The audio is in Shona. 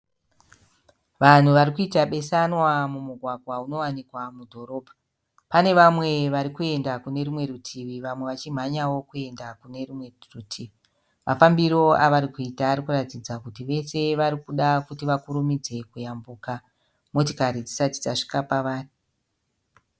Vanhu varikuita besanwa mumugwagwa unowanikwa mudhorobha. Pane vamwe varikuenda kunerumwe rutivi vamwe vachimhanyawo kuenda kunerumwe rutivi. Mafambiro avarikuita arikuratidza kuti vese varikuda kuti vakurumidze kuyambuka motikari dzisati dzasvika pavari.